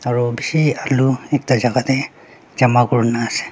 aro bishi alu ekta jaka tae jama kurina ase.